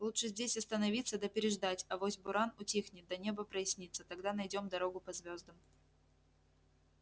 лучше здесь остановиться да переждать авось буран утихнет да небо прояснится тогда найдём дорогу по звёздам